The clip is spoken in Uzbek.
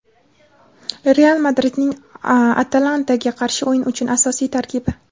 "Real" Madridning "Atalanta"ga qarshi o‘yin uchun asosiy tarkibi.